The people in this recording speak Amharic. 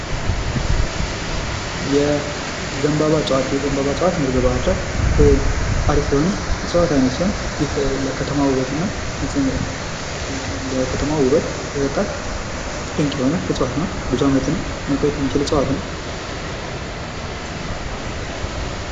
የዘንባባ እጽዋት፦ የዘንባባ እጽዋት በዚህ በባህር ዳር በጣም አሪፍ የሆነ እጽዋት አይነት ሲሆን ይህ ከተማ ውበትና ድምቀት ድንቅ የሆነ እጽዋት ነው። ሙቀት የሚችል ነው።